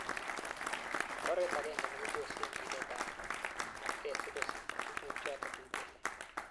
Oret agenge nekiposen Chilet ap nge si kosich tuguk chato tuten.